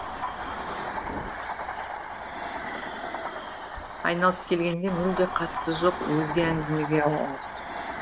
айналып келгенде мүлде қатысы жоқ өзге әңгімеге ауамыз